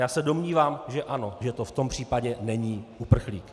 Já se domnívám, že ano, že to v tom případě není uprchlík.